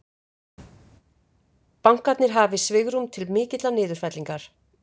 Bankarnir hafi svigrúm til mikillar niðurfellingar